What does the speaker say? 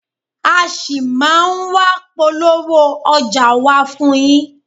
A ṣì máa ń wá polówó ọjà wa fún yín.